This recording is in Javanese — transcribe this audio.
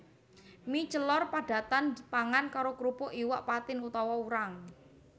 Mie celor padatan dipangan karo krupuk iwak patin utawa urang